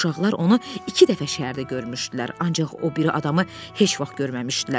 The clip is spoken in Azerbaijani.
Uşaqlar onu iki dəfə şəhərdə görmüşdülər, ancaq o biri adamı heç vaxt görməmişdilər.